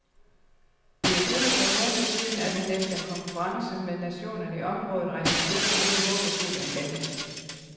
Det er kun et par måneder siden, at han efter en konference med nationerne i området rejste hjem mere håbefuld end længe.